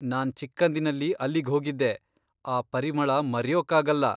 ನಾನ್ ಚಿಕ್ಕಂದಿನಲ್ಲಿ ಅಲ್ಲಿಗ್ಹೋಗಿದ್ದೆ, ಆ ಪರಿಮಳ ಮರೆಯೋಕ್ಕಾಗಲ್ಲ.